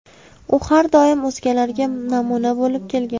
U har doim o‘zgalarga namuna bo‘lib kelgan.